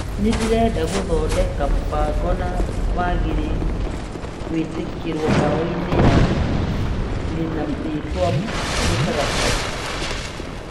Nĩndĩrenda gũthondeka mũbango na wagĩrĩire gwĩkĩrwo bairu-inĩ ya ĩna rĩtwa mũtaratara.